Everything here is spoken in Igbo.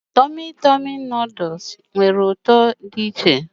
Tọmị Tọmị nuduls nwere ụtọ dị iche.